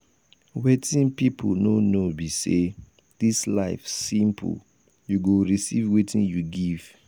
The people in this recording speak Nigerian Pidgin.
wetin people no know be say dis life simple you go receive wetin you give.